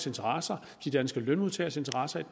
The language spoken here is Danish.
interesser de danske lønmodtageres interesser i